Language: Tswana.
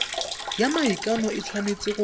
ya maikano e tshwanetse go